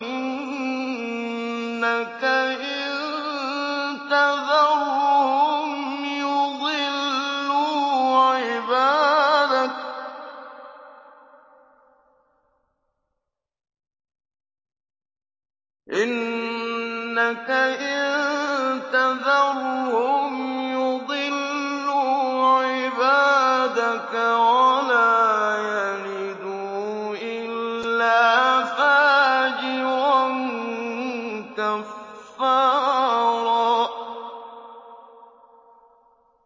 إِنَّكَ إِن تَذَرْهُمْ يُضِلُّوا عِبَادَكَ وَلَا يَلِدُوا إِلَّا فَاجِرًا كَفَّارًا